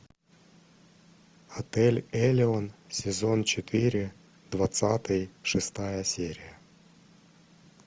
отель элеон сезон четыре двадцатый шестая серия